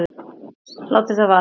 Látum það vera.